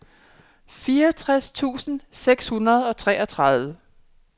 fireogtres tusind seks hundrede og treogtredive